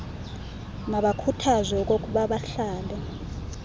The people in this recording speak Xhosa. mabakhuthazwe okokuba bahlale